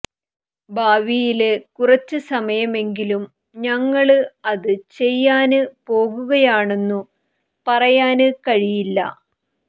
ഭാവിയില് കുറച്ചു സമയമെങ്കിലും ഞങ്ങള് അത് ചെയ്യാന് പോകുകയാണെന്നു പറയാന് കഴിയില്ല